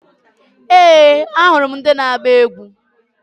Ee! Ahụrụ m ndị na-agba egwu.